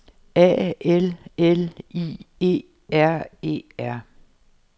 A L L I E R E R